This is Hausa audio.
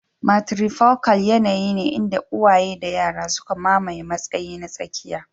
Matrifocal yanayi ne inda uwaye da yara suka mamaye matsayi na tsakiya.